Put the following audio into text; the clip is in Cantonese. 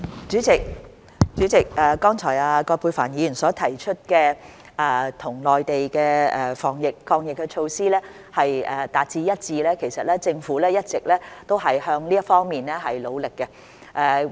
主席，葛珮帆議員剛才提出香港與內地的防疫抗疫措施達致一致，其實政府一直也向這方面努力中。